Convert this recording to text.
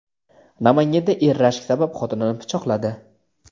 Namanganda er rashk sabab xotinini pichoqladi.